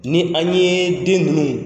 Ni an ye den ninnu